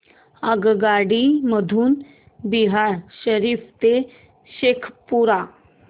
आगगाडी मधून बिहार शरीफ ते शेखपुरा